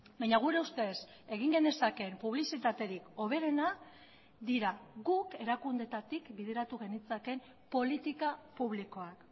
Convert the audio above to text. baina gure ustez egin genezakeen publizitaterik hoberena dira guk erakundeetatik bideratu genitzakeen politika publikoak